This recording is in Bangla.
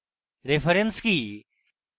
reference কি